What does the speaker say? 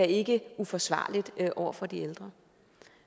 ikke er uforsvarligt over for de ældre